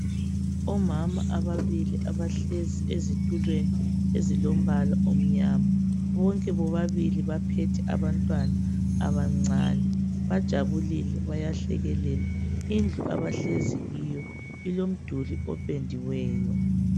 Omama ababili abahlezi ezitulweni ezilombala omnyama. Bonke bobabili baphethe abantwana abancane. Bajabulile bayahlekelela. Indlu abahlezi kiyo ilomduli opendiweyo.